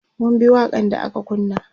mun bi waƙan da aka kunna